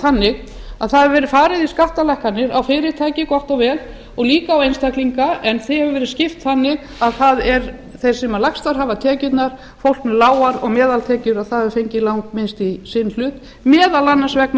þannig að farið hefur verið í skattalækkanir á fyrirtæki gott og vel og líka á einstaklinga en þeim hefur verið skipt þannig að þeir sem lægstar hafa tekjurnar fólk með lágar og meðaltekjur hafa fengið langminnst í sinn hlut meðal annars vegna